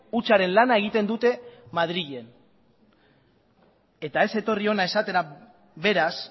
hutsaren lana egiten dute madrilen eta ez etorri hona esatera beraz